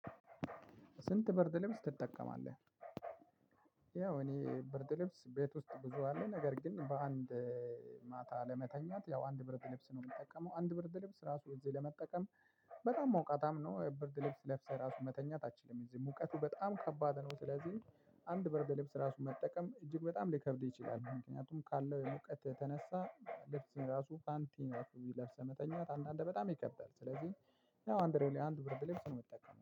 ስንት ብርድ ልብስ ትጠቀማለህ? ያው እኔ ብርድ ልብስ ቤት ውስጥ ብዙ አለ ነገር ግን በአንድ ማታ ለመተኛት ያው አንድ ብርድ ልብስ ነው የምጠቀመው። አንድ ብርድ ልብስ ራሱ እዚህ ለመጠቀም። በጣም ሞቃትም ነው ብርድ ልብስ ለብሰህ ራሱ መተኛት አትችልም እዚህ ሙቀቱ በጣም ከባድ ነው። ስለዚህ አንድ ብርድ ልብስ ራሱ መጠቀም እጅግ በጣም ሊከብድ ይችላል። ምክንያቱም ካለው የሙቀት የተነሳ ልብስ ራሱ ፓንቲ ራሱ ለብሰህ መተኛት አንዳንዴ በጣም ይከበዳል። ስለዚህ ያው አንድ አንድ ብርድ ልብስ ነው የምትጠቀመው